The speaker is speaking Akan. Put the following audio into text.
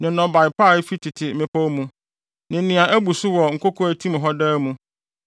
ne nnɔbae pa a efi tete mmepɔw mu ne nea abu so wɔ nkoko a etim hɔ daa mu